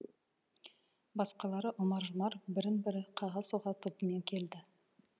басқалары ұмар жұмар бірін бірі қаға соға тобымен келді